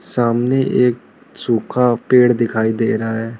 सामने एक सूखा पेड़ दिखाई दे रहा है।